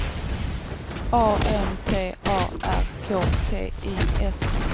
A N T A R K T I S